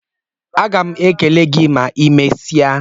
Agam ekele gị ma I mesia